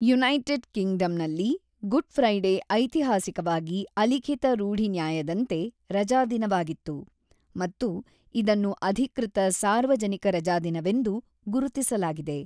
United ಕಿಂಗ್ಡಮ್‌ನಲ್ಲಿ, Good Friday ಐತಿಹಾಸಿಕವಾಗಿ ಅಲಿಖಿತ ರೂಢಿನ್ಯಾಯದಂತೆ ರಜಾದಿನವಾಗಿತ್ತು ಮತ್ತು ಇದನ್ನು ಅಧಿಕೃತ ಸಾರ್ವಜನಿಕ ರಜಾದಿನವೆಂದು ಗುರುತಿಸಲಾಗಿದೆ.